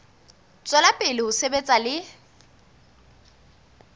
tswela pele ho sebetsa le